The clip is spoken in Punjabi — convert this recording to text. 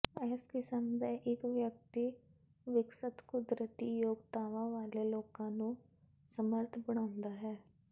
ਇਸ ਕਿਸਮ ਦਾ ਇਕ ਵਿਅਕਤੀ ਵਿਕਸਤ ਕੁਦਰਤੀ ਯੋਗਤਾਵਾਂ ਵਾਲੇ ਲੋਕਾਂ ਨੂੰ ਸਮਰੱਥ ਬਣਾਉਂਦਾ ਹੈ